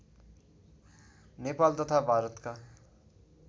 नेपाल तथा भारतका